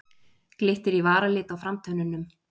Glittir í varalit á framtönnunum.